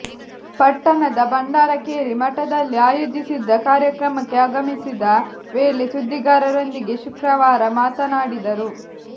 ಪಟ್ಟಣದ ಭಂಡಾರಕೇರಿ ಮಠದಲ್ಲಿ ಆಯೋಜಿಸಿದ್ದ ಕಾರ್ಯಕ್ರಮಕ್ಕೆ ಆಗಮಿಸಿದ ವೇಳೆ ಸುದ್ದಿಗಾರರೊಂದಿಗೆ ಶುಕ್ರವಾರ ಮಾತನಾಡಿದರು